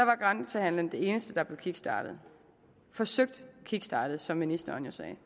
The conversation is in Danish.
var grænsehandelen det eneste der blev kickstartet forsøgt kickstartet som ministeren jo sagde